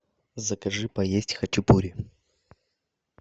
закажи поесть хачапури